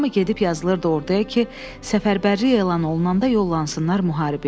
Hamı gedib yazılırdı orduya ki, səfərbərlik elan olunanda yollansınlar müharibəyə.